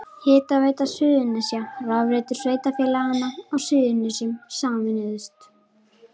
Hitaveita Suðurnesja og rafveitur sveitarfélaganna á Suðurnesjum sameinuðust.